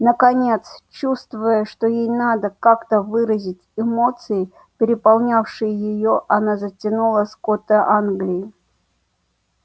наконец чувствуя что ей надо как-то выразить эмоции переполнявшие её она затянула скоты англии